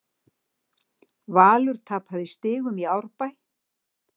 Valur tapaði stigum í Árbæ